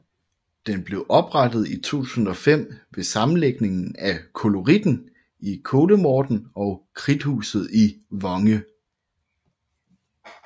Den blev oprettet i 2005 ved sammenlægning af Koloritten i Kollemorten og Krudthuset i Vonge